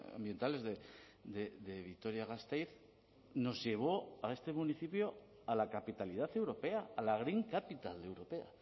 ambientales de vitoria gasteiz nos llevó a este municipio a la capitalidad europea a la green capital europea